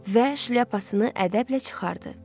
Və şlyapasını ədəblə çıxardı.